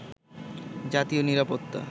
জাতীয় নিরাপত্তা